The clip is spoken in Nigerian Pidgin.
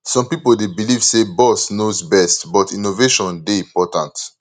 some pipo dey believe say boss knows best but innovation dey important